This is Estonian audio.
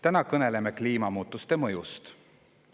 Täna kõneleme kliimamuutuste mõjust.